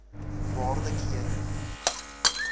waarde kere